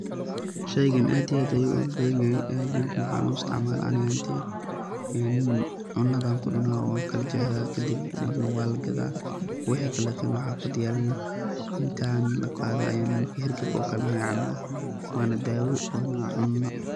Sheygaan aad iyo aad ayu ugu badan yahay aageyga, maxa u istacmala ani ahaan teyda en cuna an ku cuuna waan kala jexda, kadib maar wa lagada wixi kalete xafada yaale naa inta la qaado marki hargabka caabna wa daawo wa na cuuno.